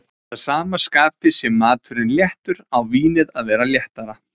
að sama skapi sé maturinn léttur, á vínið að vera léttara.